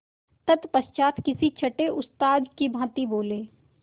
तत्पश्चात किसी छंटे उस्ताद की भांति बोले